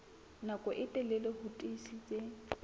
nako e telele ho tiisitse